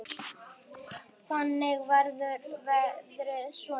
Þannig verður verðið svona.